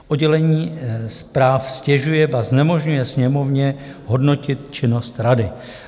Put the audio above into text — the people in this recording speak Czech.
Oddělení zpráv ztěžuje, ba znemožňuje Sněmovně hodnotit činnost rady.